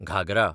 Ghaghara